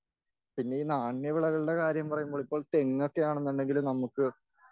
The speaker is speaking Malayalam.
പിന്നെ ഈ നാണ്യവിളകളുടെ കാര്യം പറയുമ്പോൾ ഇപ്പോൾ തെങ്ങൊക്കെയാന്നുണ്ടെങ്കിൽ നമുക്ക്